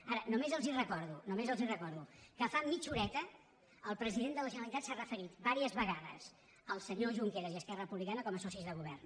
ara només els recordo només els recordo que fa mitja horeta el president de la generalitat s’ha referit diverses vegades al senyor junqueras i a esquerra republicana com a socis de govern